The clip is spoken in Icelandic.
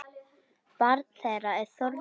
Barn þeirra er Þórður Nói.